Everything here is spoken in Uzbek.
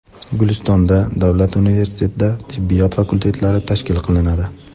Guliston davlat universitetida tibbiyot fakultetlari tashkil qilinadi.